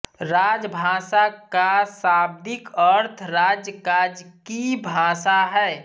राजभाषा का शाब्दिक अर्थ राज काज की भाषा है